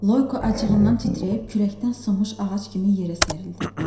Loyko acığından titrəyib küləkdən sınmış ağac kimi yerə sərildi.